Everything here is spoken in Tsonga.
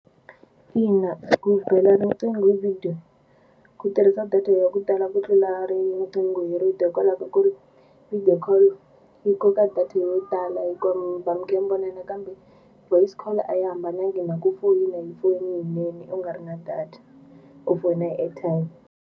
Ina, ku bela riqingho hi video ku tirhisa data ya ku tala ku tlula riqingho hi rito hikwalaho ka ku ri video call yi koka data yo tala hi ku ri mi va mi kha mi vonana kambe voice call a yi hambanangi na ku foyina hi foyini yinene u nga ri na data u foyina hi airtime.